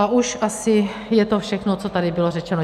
A už asi je to všechno, co tady bylo řečeno.